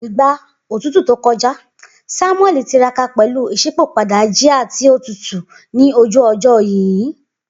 Igba otutu to kọja, Samueli tiraka pẹlu iṣipopada jia ti o tutu ni oju ojo yinyin.